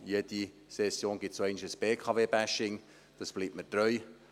Denn jede Session gibt es einmal ein BKW-Bashing, dieses bleibt mir treu.